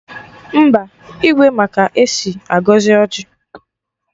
Mba, Igwe ma ka esi agọzi ọjị